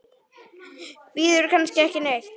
Bíður kannski ekki neitt?